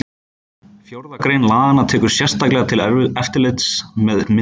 Fjórða grein laganna tekur sérstaklega til eftirlits með myndavélum.